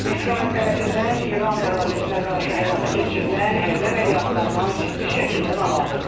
İsrail tərəfindən İran ərazisinə qarşı həyata keçirilən hərbi əməliyyatlardan ciddi şəkildə narahatıq.